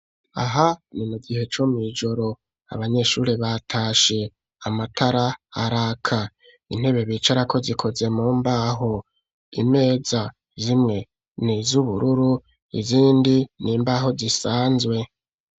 Aha ni mugihe co mw'ijoro abanyeshuri batashe amatara araka intebe bicarako zikoze mu mbaho imeza zimwe ni z'ubururu izindi n'imbaho zisanzwe